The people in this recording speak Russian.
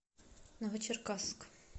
новочеркасск